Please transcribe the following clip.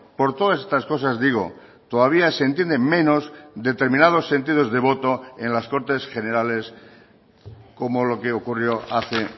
por todas estas cosas digo todavía se entienden menos determinados sentidos de voto en las cortes generales como lo que ocurrió hace